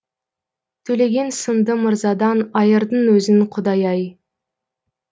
төлеген сынды мырзадан айырдың өзің құдай ай